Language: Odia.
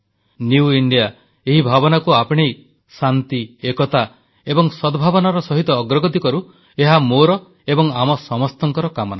ନ୍ୟୁ ଇଣ୍ଡିଆ ଏଇ ଭାବନାକୁ ଆପଣେଇ ଶାନ୍ତି ଏକତା ଏବଂ ସଦ୍ଭାବନାର ସହିତ ଅଗ୍ରଗତି କରୁ ଏହା ମୋର ଏବଂ ଆମ ସମସ୍ତଙ୍କର କାମନା